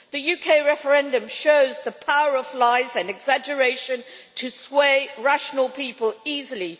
The UK referendum shows the power of lies and exaggeration to sway rational people easily.